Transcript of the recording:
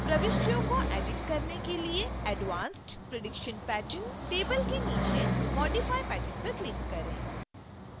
प्रविष्टियों को edit करने के लिए advanced prediction pattern table के नीचे modify pattern पर click करें